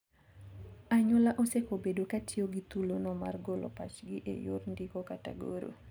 Anyuola osekobedo katiyo gi thulono mar golo pachgi e yor ndiko kata goro.